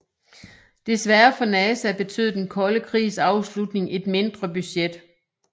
Desværre for NASA betød den kolde krigs afslutning et mindre budget